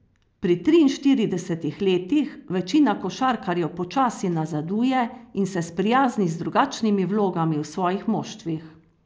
Pri triinštiridesetih letih večina košarkarjev počasi nazaduje in se sprijazni z drugačnimi vlogami v svojih moštvih.